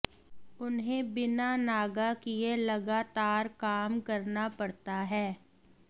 उन्हें बिना नागा किए लगातार काम करना पड़ता है